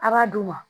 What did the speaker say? A b'a d'u ma